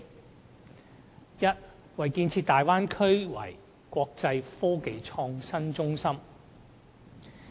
第一，建設大灣區成為"國際科技創新中心"。